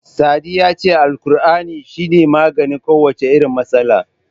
Sadi ya ce Alkur'ani shi ne maganin kowace irin matsala.